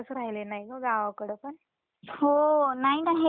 हो, नाही ना हे वातावरणच तस झालंय ना.